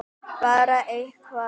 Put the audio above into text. Bara eitthvað!!!